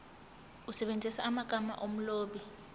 usebenzise amagama omlobi